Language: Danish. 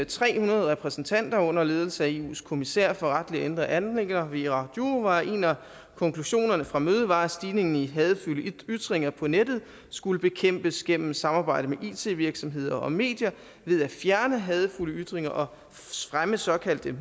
tre hundrede repræsentanter under ledelse af eus kommissær for retlige og indre anliggender věra jourová en af konklusionerne fra mødet var at stigningen i hadefulde ytringer på nettet skulle bekæmpes gennem samarbejde med it virksomheder og medier ved at fjerne hadefulde ytringer og fremme såkaldte